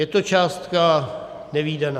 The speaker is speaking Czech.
Je to částka nevídaná.